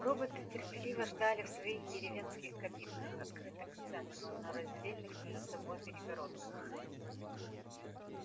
роботы терпеливо ждали в своих деревенских кабинках открытых к центру но раздельных между собой перегородках